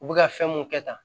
U bɛ ka fɛn mun kɛ tan